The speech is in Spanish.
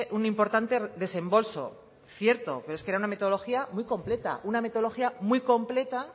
un importante desembolso cierto pero es que era una metodología muy completa una metodología muy completa